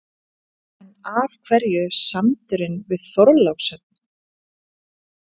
En af hverju sandurinn við Þorlákshöfn?